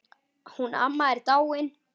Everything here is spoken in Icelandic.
Hún amma er dáin.